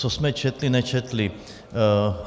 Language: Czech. Co jsme četli - nečetli.